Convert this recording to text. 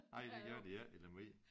Ej det gør de ikke i Lemvig